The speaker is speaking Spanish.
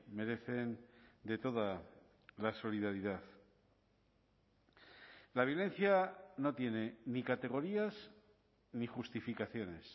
merecen de toda la solidaridad la violencia no tiene ni categorías ni justificaciones